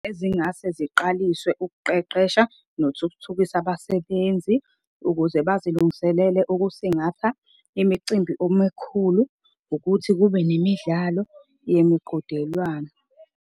Ezingase ziqaliswe ukuqeqesha nothuthukisa abasebenzi ukuze bazilungiselele ukusingatha imicimbi omekhulu. Ukuthi kube nemidlalo yemiqhudelwano.